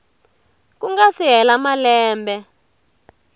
ku nga si hela malembe